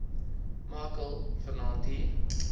machel vanaand hier